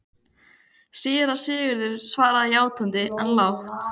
Síra Sigurður svaraði játandi, en lágt.